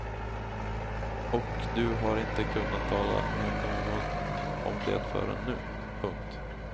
Och du har inte kunnat tala med någon om det förrän nu. punkt